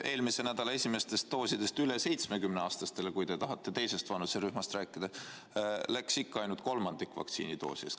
Eelmise nädala esimestest doosidest üle 70-aastastele, kui te tahate teisest vanuserühmast rääkida, läks ikka ainult kolmandik.